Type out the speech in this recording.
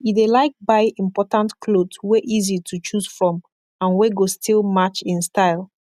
e dey laik buy important kloth wey easy to choose from and wey go still match en style